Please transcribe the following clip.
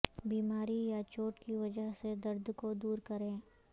بیماری یا چوٹ کی وجہ سے درد کو دور کریں